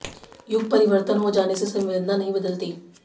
युग परिवर्तन हो जाने से संवेदना नहीं बदलती